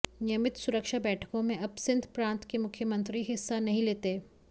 नियमित सुरक्षा बैठकों में अब सिंध प्रांत के मुख्यमंत्री हिस्सा नहीं लेते